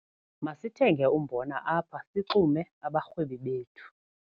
Masithenge umbona apha sixume abarhwebi bethu.